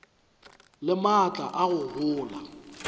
le maatla a go gola